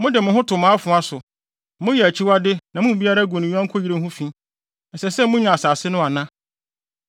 Mode mo ho to mo afoa so. Moyɛ akyiwade na mo mu biara gu ne yɔnko yere ho fi. Ɛsɛ sɛ munya asase no ana?’